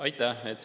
Aitäh!